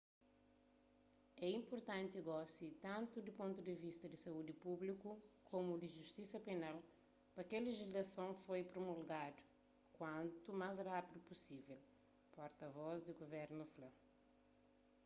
é inpurtanti gosi tantu di pontu di vista di saúdi públiku komu di justisa penal pa kel lejislason ser promulgadu kuantu más rapidu pusivel porta vos di guvernu fla